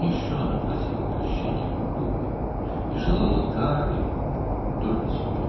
Hələ bir də Allahdan bağışlanma dilədi və yalnız özünə cəza arzuladı.